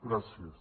gràcies